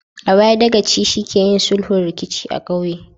A baya, Dagaci shi ke yin sulhun rikici a ƙauye